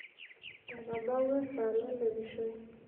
etabawua esaa nalepishoi